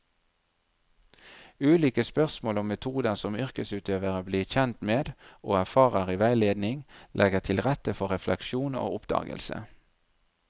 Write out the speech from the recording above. Ulike spørsmål og metoder som yrkesutøverne blir kjent med og erfarer i veiledning, legger til rette for refleksjon og oppdagelse.